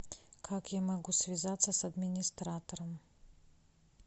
как я могу связаться с администратором